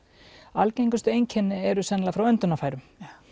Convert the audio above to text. algengustu einkenni eru sennilega frá öndunarfærum